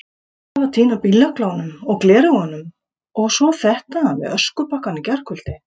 Alltaf að týna bíllyklunum, og gleraugunum, og svo þetta með öskubakkann í gærkvöldi.